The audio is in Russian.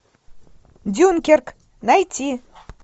дюнкерк найти